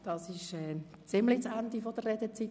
Das war mehr als das Ende der Redezeit.